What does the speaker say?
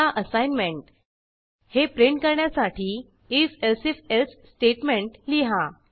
आता असाईनमेंट हे प्रिंट करण्यासाठी if elsif एल्से स्टेटमेंट लिहा